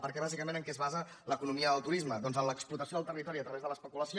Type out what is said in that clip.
perquè bàsi·cament en què es basa l’economia del turisme doncs en l’explotació del territori a través de l’especulació